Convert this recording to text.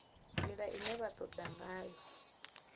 ndila ine vha toda ngayo